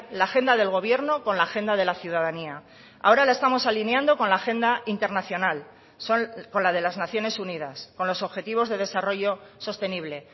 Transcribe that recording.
la agenda del gobierno con la agenda de la ciudadanía ahora la estamos alineando con la agenda internacional con la de las naciones unidas con los objetivos de desarrollo sostenible